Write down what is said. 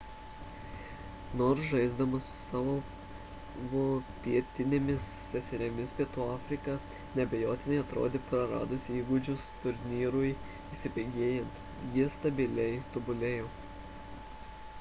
nors žaisdama su savo pietinėmis seserimis pietų afrika neabejotinai atrodė praradusi įgūdžius turnyrui įsibėgėjant ji stabiliai tobulėjo